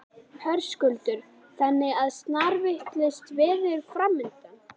Höskuldur: Þannig að snarvitlaust veður framundan?